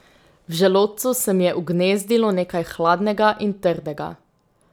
V želodcu se mi je ugnezdilo nekaj hladnega in trdega.